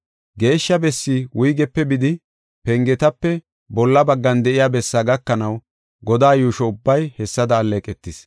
Geeshsha bessi wuygepe bidi, pengetape bolla baggan de7iya bessaa gakanaw, godaa yuusho ubbay hessada alleeqetis.